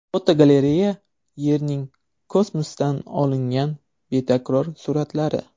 Fotogalereya: Yerning kosmosdan olingan betakror suratlari.